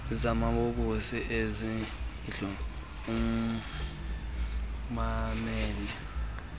zamabobosi ezindlu ummamele